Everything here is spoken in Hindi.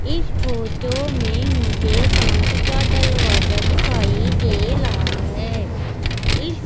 इस फोटो में मुझे कांच का डलवाजा दिखाई दे रहा है इस--